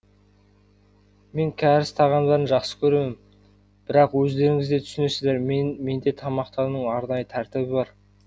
мен кәріс тағамдарын жақсы көремін бірақ өздеріңіз де түсінесіздер менде тамақтану арнайы тәртібі бар